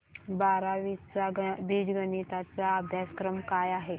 बारावी चा बीजगणिता चा अभ्यासक्रम काय आहे